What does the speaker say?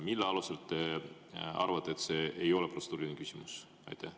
Mille alusel te arvate, et see ei ole protseduuriline küsimus?